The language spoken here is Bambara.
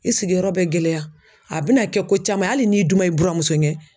I sigiyɔrɔ bɛ gɛlɛya a bɛna kɛ ko caman ye hali n'i duma i buramuso ye.